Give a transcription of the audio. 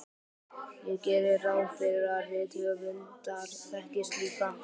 Ég geri ráð fyrir að rithöfundar þekkist líka.